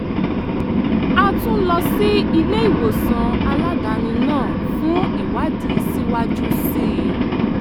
a tún lọ sí ilé-ìwòsàn aládàáni náà fún ìwádìí síwájú sí i